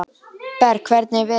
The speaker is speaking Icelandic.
Berg, hvernig er veðurspáin?